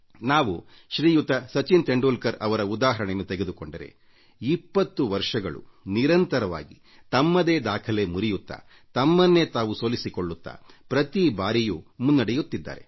ನಾವು ಶ್ರೀಯುತ ಸಚಿನ್ ತೆಂಡುಲ್ಕರ್ ಅವರ ಉದಾಹರಣೆಯನ್ನು ತೆಗೆದುಕೊಂಡರೆ 20 ವರ್ಷಗಳ ಕಾಲ ನಿರಂತರವಾಗಿ ತಮ್ಮದೇ ದಾಖಲೆ ಮುರಿಯುತ್ತಾ ತಮ್ಮನ್ನೇ ತಾವು ಸೋಲಿಸಿಕೊಳ್ಳುತ್ತಾ ಪ್ರತಿ ಬಾರಿಯೂ ಮುನ್ನಡೆಯುತ್ತಿದ್ದರು